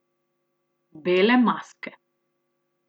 Bele maske.